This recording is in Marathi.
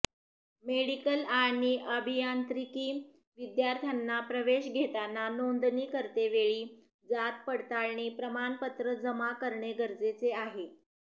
मेडिकल आणि अभियांत्रिकी विद्यार्थ्यांना प्रवेश घेताना नोंदणी करतेवेळी जात पडताळणी प्रमाणपत्र जमा करणे गरजेचे आहे